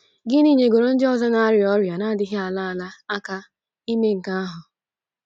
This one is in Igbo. Gịnị nyegoro ndị ọzọ na - arịa ọrịa na - adịghị ala ala aka ime nke ahụ?